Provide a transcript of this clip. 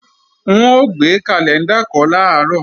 N ó gbé kàlẹ́ńdà kọ́ làárọ̀